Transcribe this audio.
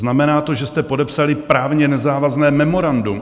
Znamená to, že jste podepsali právně nezávazné memorandum.